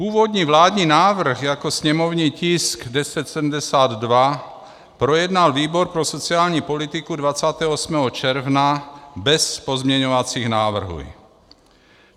Původní vládní návrh jako sněmovní tisk 1072 projednal výbor pro sociální politiku 28. června bez pozměňovacích návrhů.